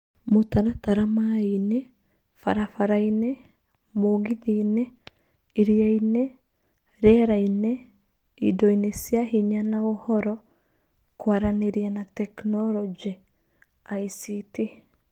Mũtaratara maaĩ-inĩ, barabara-inĩ, mũgithi-inĩ, iria-inĩ, rĩera-inĩ, indo-inĩ cia hinya na Ũhoro, Kwaranĩria na Teknoroji (ICT).